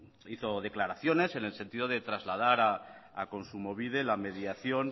hizo declaraciones en el sentido de trasladar a kontsumobide la mediación